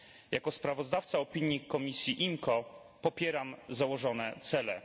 Jako sprawozdawca opinii komisji IMCO popieram założone cele.